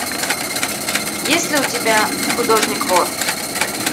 есть ли у тебя художник вор